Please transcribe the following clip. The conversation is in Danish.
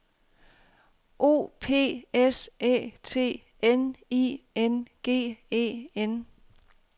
O P S Æ T N I N G E N